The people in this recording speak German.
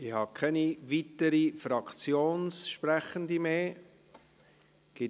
Ich habe keine weiteren Fraktionssprechenden mehr auf der Liste.